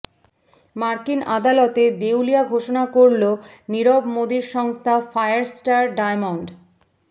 মার্কিন আদালতে দেউলিয়া ঘোষণা করল নীরব মোদীর সংস্থা ফায়ারস্টার ডায়মন্ড